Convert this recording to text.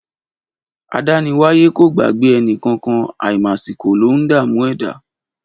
Adániwáyẹ kò gbagbẹ ẹnikàn kan; àimàsikò lọún dà mú ẹ̀dá